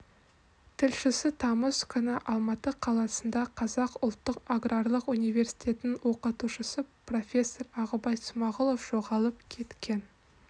тілшісі тамыз күні алматы қаласында қазақ ұлттық аграрлық университетінің оқытушысы профессор ағыбай смағұлов жоғалып кеткен